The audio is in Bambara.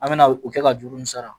An me na o kɛ ka juru min sara